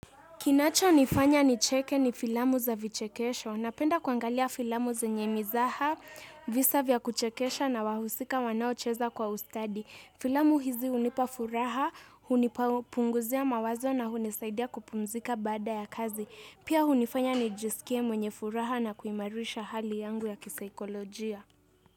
Kinachonifanya nicheke ni filamu za vichekesho. Napenda kuangalia filamu zenye mizaha visa vya kuchekesha na wahusika wanaocheza kwa ustadi. Filamu hizi hunipa furaha, hunipunguzia mawazo na hunisaidia kupumzika baada ya kazi. Pia hunifanya nijisikie mwenye furaha na kuimarisha hali yangu ya kisaikolojia.